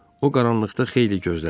O qaranlıqda xeyli gözlədi.